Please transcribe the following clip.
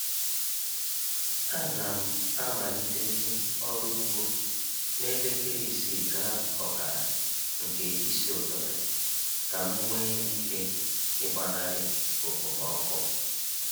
A na m amalitezi ọrụ ugbo na elekere isii gaa ọkara nke isi ụtụtụ ka m nwee ike ịgbanarị okpomọkụ